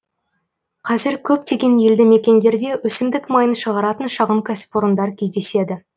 қазір көптеген елді мекендерде өсімдік майын шығаратын шағын кәсіпорындар кездеседі